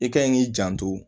I kan yi k'i janto